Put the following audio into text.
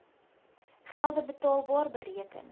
gelde betaalbar bereken